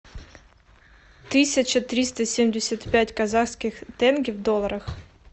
тысяча триста семьдесят пять казахских тенге в долларах